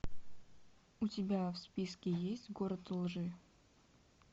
у тебя в списке есть город лжи